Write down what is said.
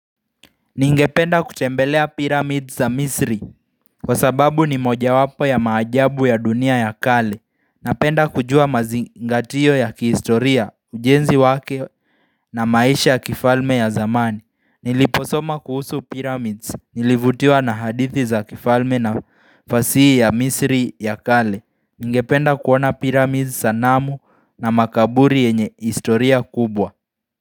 Ningependa kutembelea pyramids za misri kwa sababu ni moja wapo ya maajabu ya dunia ya kale. Napenda kujua mazingatio ya kihistoria, ujenzi wake na maisha ya kifalme ya zamani. Niliposoma kuhusu pyramids, nilivutiwa na hadithi za kifalme na fasihi ya misri ya kale. Ningependa kuona pyramids sanamu na makaburi yenye historia kubwa.